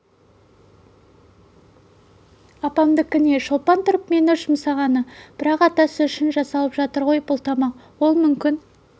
апамдікі не шолпан тұрып мені жұмсағаны бірақ атасы үшін жасалып жатыр ғой бұл тамақ ол мүмкін